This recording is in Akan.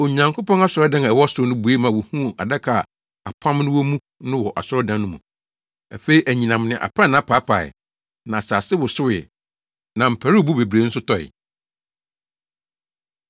Onyankopɔn asɔredan a ɛwɔ ɔsoro no bue ma wohuu adaka a apam no wɔ mu no wɔ asɔredan no mu. Afei anyinam ne aprannaa paapaee, na asase wosowee na mparuwbo bebree nso tɔe.